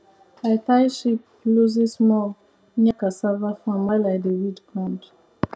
i tie sheep loosesmall near cassava farm while i dey weed ground